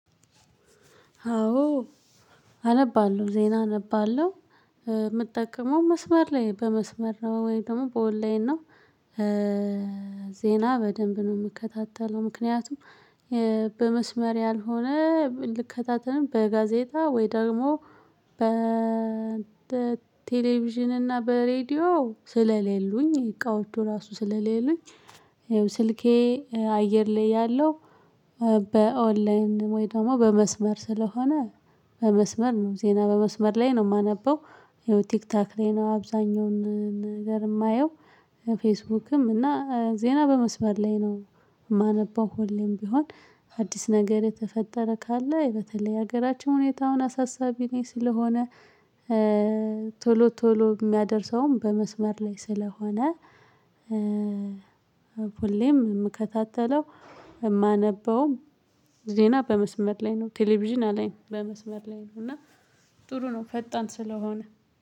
አዎ። አነባለሁ ዜና አነባለሁ የምጠቀመው መስመር ላይ በመስመር ነው? ወይ ደግሞ በኦንላይን ነው። ዜና በደንብ ነው የምከታተለው ምክንያቱም። በመስመር ያልሆነ ልከታተልም በጋዜጣ ወይ ደግሞ በ ተ ቴሌቪዥን እና በሬዲዮ ስለሌሉኝ እቃውቹ ራሱ ስለሌሉኝ። ስልኬ አየር ላይ ያለው በኦንላይን ወይ ደግሞ በመስመር ስለሆነ በመስመር ነው ዜና በመስመር ላይ ነው የማነበው። ቲክቶክ ላይ ነው አብዛኛውን ነገር የማየው። ፌስቡክም እና ዜና በመስመር ላይ ነው። የማነበው ሁሌም ቢሆን አዲስ ነገር የተፈጠረ ካለ በተለይ ሀገራችን ሁኔታውን አሳሳቢ ላይ ስለሆነ። ቶሎ ቶሎ የሚያደርሰውም በመስመር ላይ ስለሆነ። ሁሌም የምከታተለው የማነበውም ዜና በመስመር ላይ ነው ቴሌቪዥን አላይም። በመስመር ላይ ነው እና ጥሩ ነው። ፈጣን ስለሆነ